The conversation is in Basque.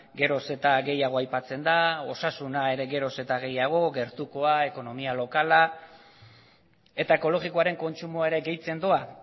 geroz eta gehiago aipatzen da osasuna ere geroz eta gehiago gertukoa ekonomia lokala eta ekologikoaren kontsumoa ere gehitzen doa